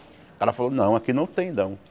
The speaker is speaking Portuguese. O cara falou, não, aqui não tem, não.